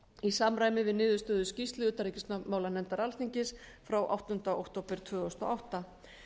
í samræmi við skýrslu utanríkismálanefndar alþingis frá áttunda október tvö þúsund og átta